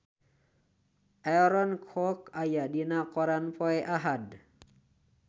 Aaron Kwok aya dina koran poe Ahad